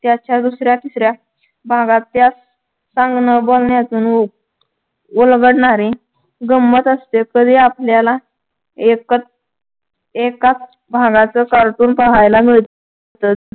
त्याच्या दुसऱ्या तिसऱ्या भागात त्या सांगण बोलण्याचं न होत उलगडणारे गंमत असते तरी आपल्याला एकच एकाच भागाच cartoon पहायला मिळ तंच